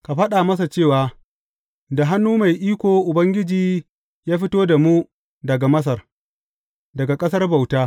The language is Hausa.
Ka faɗa masa cewa, Da hannu mai iko Ubangiji ya fito da mu daga Masar, daga ƙasar bauta.